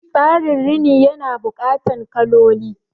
Tsarin Rini ya na buƙatan kaloli